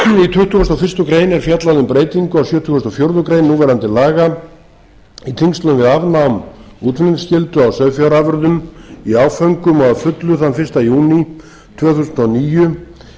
tuttugasta og fyrstu grein er fjallað um breytingu á sjötugasta og fjórðu grein núverandi laga í tengslum við afnám útflutningsskyldu á sauðfjárafurðum í áföngum og að fullu þann fyrsta júní tvö þúsund og níu er gert